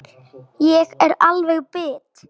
Ég er alveg bit!